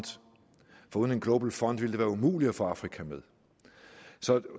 for uden en global fund ville det være umuligt at få afrika med